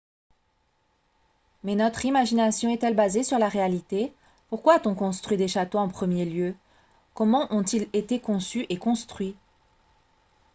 mais notre imagination est-elle basée sur la réalité pourquoi a-t-on construit des châteaux en premier lieu comment ont-ils été conçus et construits